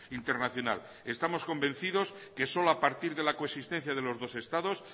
internacional estamos convencidos que solo a partir de la coexistencia de los dos estados